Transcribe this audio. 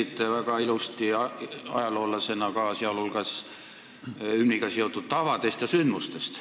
Te rääkisite ajaloolasena väga ilusti muu hulgas hümniga seotud tavadest ja sündmustest.